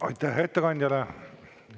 Aitäh ettekandjale!